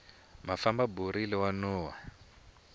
mafamba borile wa nuhwa